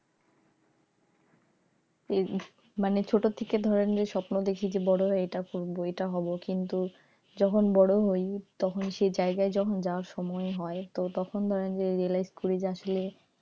মানে ধরে নিয়ে ছোট থেকে স্বপ্ন দেখি বড়ো হয়ে এটা করবো এটা হবো কিন্তু যখন বড় হই যখন সেই জায়গায় যাওয়ার সময় হয় তখন ধরেন যে realize করি,